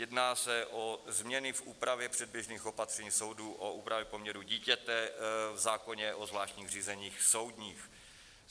Jedná se o změny v úpravě předběžných opatření soudů o úpravě poměrů dítěte v zákoně o zvláštních řízeních soudních.